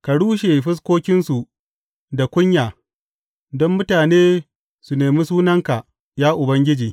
Ka rushe fuskokinsu da kunya don mutane su nemi sunanka, ya Ubangiji.